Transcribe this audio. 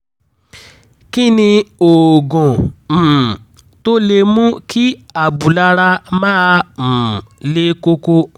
kí ni oògùn um tó lè mú kí abúlára máa um le koko?